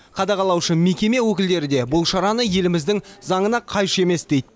қадағалаушы мекеме өкілдерді де бұл шараны еліміздің заңына қайшы емес дейді